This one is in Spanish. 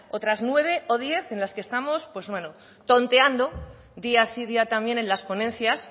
otras nueve o diez en las que estamos pues bueno tonteando día sí día también en las ponencias